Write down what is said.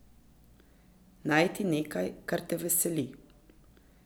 Najti nekaj, kar te veseli.